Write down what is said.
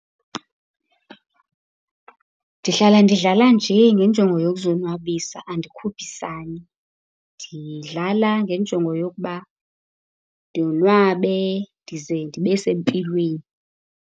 Ndihlala ndidlala nje ngenjongo yokuzonwabisa, andikhuphisani. Ndidlala ngenjongo yokuba ndonwabe ndize ndibe sempilweni.